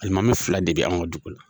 Alimami fila de be anw ka dugu la.